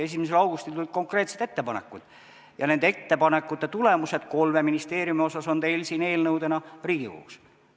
1. augustil tulid konkreetsed ettepanekud ja nende ettepanekute tulemused kolme ministeeriumi kohta on teil eelnõudena Riigikogus.